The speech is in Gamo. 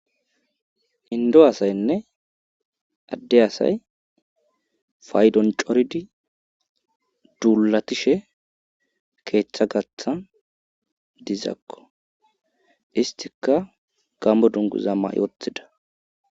Indo asaynne adde asay faydon coridi duulatishe keeththa gatha dizakko istika gammo dungu zamma woththida.